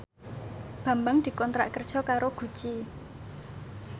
Bambang dikontrak kerja karo Gucci